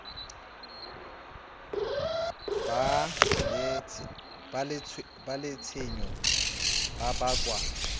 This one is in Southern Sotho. ba le tshenyo e bakwang